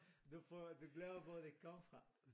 Du for du glemmer hvor det kom fra